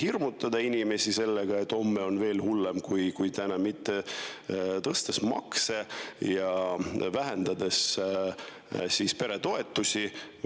Hirmutatakse inimesi sellega, et homme on veel hullem kui täna, tõstetakse makse ja vähendatakse peretoetusi.